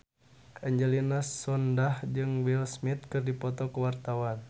Angelina Sondakh jeung Will Smith keur dipoto ku wartawan